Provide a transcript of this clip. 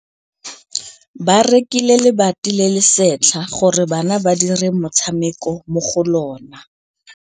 Ba rekile lebati le le setlha gore bana ba dire motshameko mo go lona.